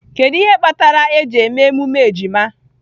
Kedu ihe kpatara eji eme emume ejima?